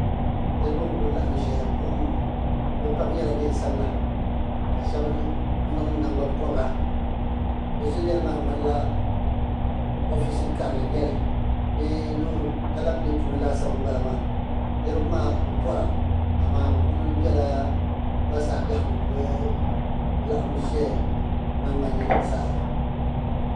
Niriba n ku laɣim ʒɛya boo bi pam yɛla niɛn sabila ka shaba niŋ nangbanpɔbira bi ʒilel maa ŋmani la ɔfisi karili n nyɛli bee loori alepilɛ puuni laasabu n bala maa niriba maa bi pɔra amaa bi ku bɛla basaa bɛhigu be bi laɣim ʒɛya nangban yini zaa.